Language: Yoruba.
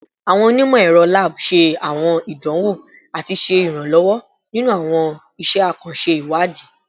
Awọn onimọ-ẹrọ lab ṣe awọn idanwo ati ṣe iranlọwọ ninu awọn iṣẹ akanṣe iwadi